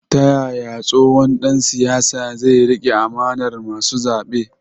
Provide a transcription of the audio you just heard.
Ta yaya tsohon dan siyasa zai rike amanar masu zabe?